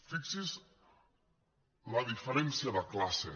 fixi’s la diferència de classe